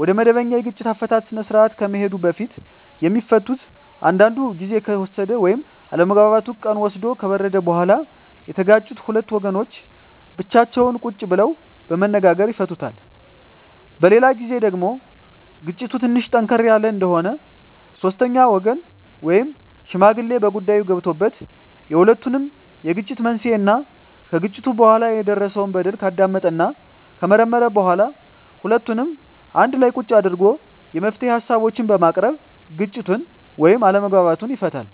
ወደመበኛ የግጭት አፈታት ስርአት ከመሄዱ በፊት የሚፈቱት አንዳንዱ ግዜ ከተወሰደ ወይም አለመግባባቱ ቀን ወስዶ ከበረደ በኋላ የተጋጩት ሁለት ወገኖች ብቻቸውን ቁጭ ብለው በመነጋገር ይፈቱታል። በሌላ ግዜ ደግሞ ግጭቱ ትንሽ ጠንከር ያለ እንደሆነ ሶስተኛ ወገን ወይም ሽማግሌ በጉዳይዮ ገብቶበት የሁለቱንም የግጭት መንሴና ከግጭቱ በኋላ የደረሰው በደል ካዳመጠና ከመረመረ በኋላ ሁለቱንም አንድላ ቁጭ አድርጎ የመፍትሄ ሀሳቦችን በማቅረብ ግጭቱን ወይም አለመግባባቱን ይፈታል።